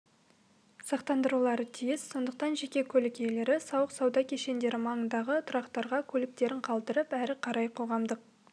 сақтандырулары тиіс сондықтан жеке көлік иелері сауық-сауда кешендері маңындағы тұрақтарға көліктерін қалдырып әрі қарай қоғамдық